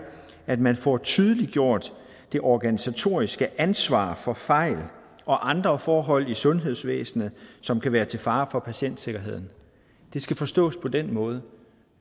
at man får tydeliggjort det organisatoriske ansvar for fejl og andre forhold i sundhedsvæsenet som kan være til fare for patientsikkerheden det skal forstås på den måde